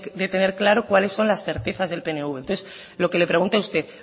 de tener claro cuáles son las certezas del pnv entonces lo que le pregunto a usted